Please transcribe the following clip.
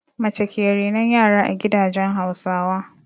Mace ke renon yara a gidajen Hausawa.